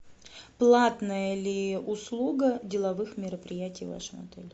платная ли услуга деловых мероприятий в вашем отеле